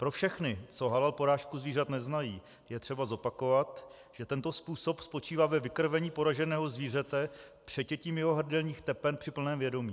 Pro všechny, co halal porážku zvířat neznají, je třeba zopakovat, že tento způsob spočívá ve vykrvení poraženého zvířete přetětím jeho hrdelních tepen při plném vědomí.